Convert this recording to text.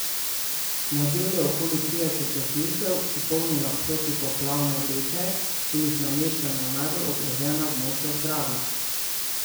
Na delu je okoli trideset gasilcev, ki polnijo protipoplavne vreče in jih nameščajo na najbolj ogrožena območja ob Dravi.